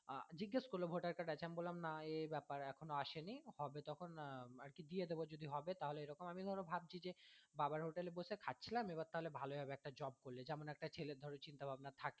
আহ জিজ্ঞেস করলো voter card আছে নাকি আমি বললাম না এই ব্যাপার এখনও আসেনি হবে তখন আরকি দিয়ে দেবো যদি হবে তাহলে এরকম আমি ধরো ভাবছি যে বাবার hotel এ বসে খাচ্ছিলাম এবার তাহলে ভালোই হবে একটা job করলে যেমন একটা ছেলের ধরো চিন্তা ভাবনা থাকে।